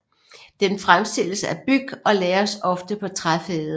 Den fremstilles af byg og lagres ofte på træfade